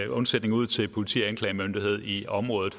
undsætning ud til politi og anklagemyndighed i området